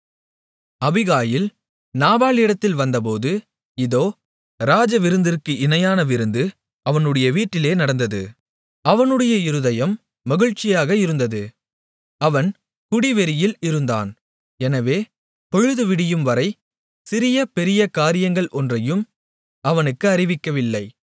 Abigail நாபாலிடத்தில் வந்தபோது இதோ ராஜவிருந்திற்கு இணையான விருந்து அவனுடைய வீட்டிலே நடந்தது அவனுடைய இருதயம் மகிழ்ச்சியாக இருந்தது அவன் குடி வெறியில் இருந்தான் எனவே பொழுது விடியும்வரை சிறிய பெரிய காரியங்கள் ஒன்றையும் அவனுக்கு அறிவிக்கவில்லை